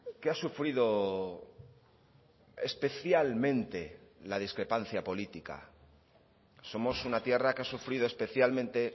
que ha sufrido especialmente la discrepancia política somos una tierra que ha sufrido especialmente